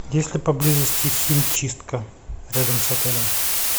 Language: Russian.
есть ли поблизости химчистка рядом с отелем